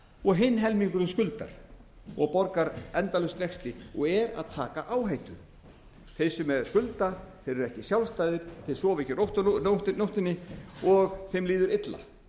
og hinn helmingurinn skuldar og borgar endalaust vexti og er að taka áhættu þeir sem skulda eru ekki sjálfstæðir þeir sofa ekki rótt á nóttunni og þeim líður illa